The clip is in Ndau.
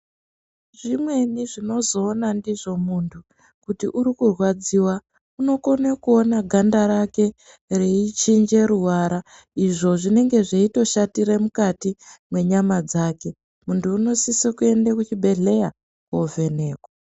Zvimweni zvinozoona ndizvo muntu kuti uri kurwadziwa unokone kuone ganda rake reichinje ruvara izvo zvinenge zveitoshatire mukati mwenyama dzake. Muntu unosise kuende kuchibhehleya kwovhenekwa.